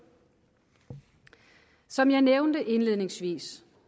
som jeg nævnte indledningsvis